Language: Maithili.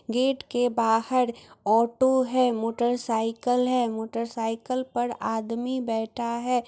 गेट के बाहर ऑटो है मोटर साइकल है मोटर साइकल पर आदमी बैठा है।